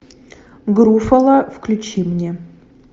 груффало включи мне